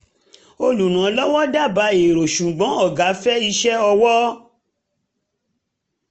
olùrànlọ́wọ́ dábàá ẹ̀rọ ṣùgbọ́n ọ̀gá fẹ́ iṣẹ́ ọwọ́